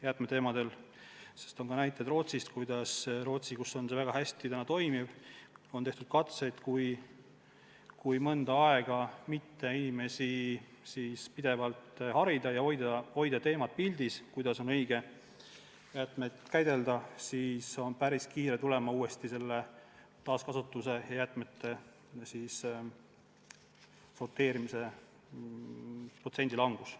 Meil on ka selliseid näiteid, näiteks Rootsist, kus see süsteem on üldiselt väga hästi toimiv, aga on tehtud katseid, et kui mõnda aega inimesi mitte harida ja mitte hoida pildil teemat, kuidas on õige jäätmeid käidelda, siis tuleb päris kiiresti taaskasutuse ja jäätmete sorteerimise protsendi langus.